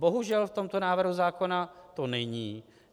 Bohužel v tomto návrhu zákona to není.